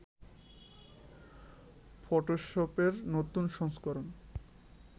ফটোশপের নতুন সংস্করণ